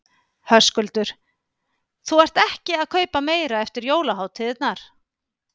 Höskuldur: Þú ert ekki að kaupa meira eftir jólahátíðirnar?